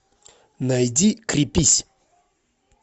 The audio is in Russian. найди крепись